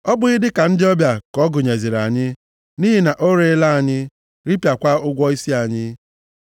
Ọ bụghị dịka ndị ọbịa ka ọ gụnyeziri anyị? Nʼihi na o reela anyị, ripịakwa ụgwọ isi anyị.